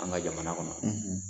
An ka jamana kɔnɔ.